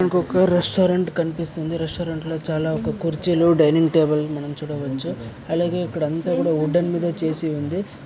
ఇంకా ఒక రెస్టారెంట్ కనిపిస్తుంది రెస్టారెంట్లో చాలా ఒక కుర్చీలు డైనింగ్ టేబుల్ ని మనం చూడవచ్చు అలాగే ఇక్కడ అంత ఉడేన్ మిద చేసి ఉంది